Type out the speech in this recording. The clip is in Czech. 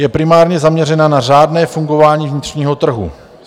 Je primárně zaměřena na řádné fungování vnitřního trhu.